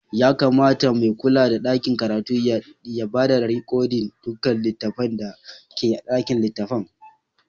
Ya kamata mai kulla da dakin karatun ya ba da rikodin dukkan littafai da ke a ɗakin littafai.